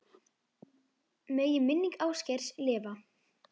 Megi minning Ásgeirs lifa.